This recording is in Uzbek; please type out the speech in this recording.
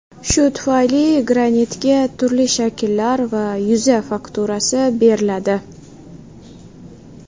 Shu tufayli granitga turli shakllar va yuza fakturasi beriladi.